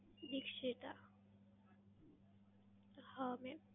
દીક્ષિતા. હા mam.